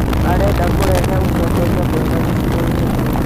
arenda kũrehe ũtongoria mwega gĩcigoinĩ kĩu